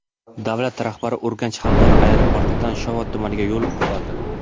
Davlat rahbari Urganch xalqaro aeroportidan Shovot tumaniga yo‘l oldi.